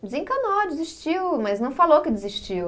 Desencanou, desistiu, mas não falou que desistiu.